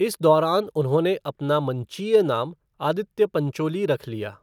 इस दौरान उन्होंने अपना मंचीय नाम आदित्य पंचोली रख लिया।